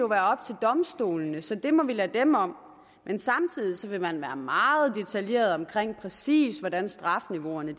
være op til domstolene så det må vi lade dem om men samtidig vil man være meget detaljeret og præcis med hvordan strafniveauerne